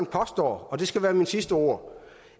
påstår og det skal være mine sidste ord